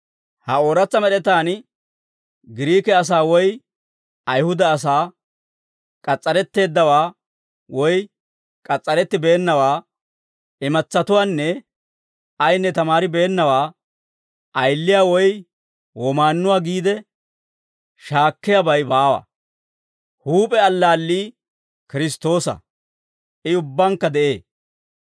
Ha ooratsa med'etaan, Giriike asaa woy Ayihuda asaa, k'as's'aretteeddawaa woy k'as's'arettibeennawaa, imatsatuwaanne ayinne tamaaribeennawaa, ayiliyaa woy womaannuwaa giide shaakkiyaabay baawa; huup'e allaallii Kiristtoosa; I ubbankka de'ee.